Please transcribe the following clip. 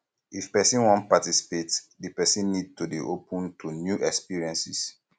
if person wan participate di person need to dey open to new experiences